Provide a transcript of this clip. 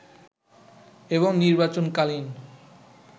এবং নির্বাচন কালীন